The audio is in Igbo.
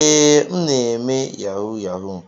Ee, m na-eme yahoo yahoo.